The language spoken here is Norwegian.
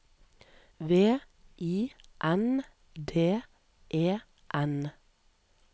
V I N D E N